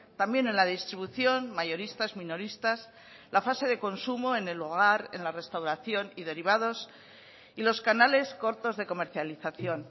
también en la distribución mayoristas minoristas la fase de consumo en el hogar en la restauración y derivados y los canales cortos de comercialización